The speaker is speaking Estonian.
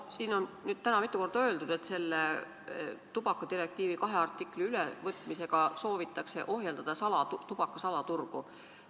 Siin on täna mitu korda öeldud, et tubakadirektiivi kahe artikli ülevõtmisega soovitakse ohjeldada tubaka salaturgu.